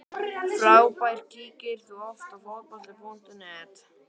Frábær Kíkir þú oft á Fótbolti.net?